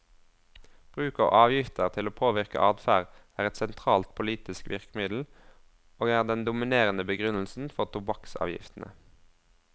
Bruk av avgifter til å påvirke adferd er et sentralt politisk virkemiddel, og er den dominerende begrunnelsen for tobakksavgiftene.